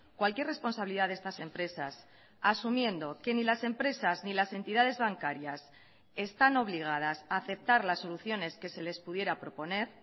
cualquier responsabilidad de estas empresas asumiendo que ni las empresas ni las entidades bancarias están obligadas a aceptar las soluciones que se les pudiera proponer